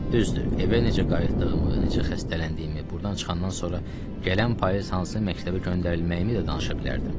Düzdür, evə necə qayıtdığımı, necə xəstələndiyimi, burdan çıxandan sonra gələn payız hansı məktəbə göndərilməyimi də danışa bilərdim.